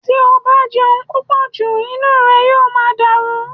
Tí o bá jẹun púpọ̀ jù inú rẹ yóò máa dàrú